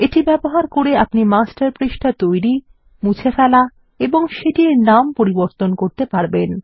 এটি ব্যবহার করে আপনি মাস্টার পৃষ্ঠা তৈরি এবং মুছে ফেলা এবং সেটির নাম পরিবর্তন করতে পারবেন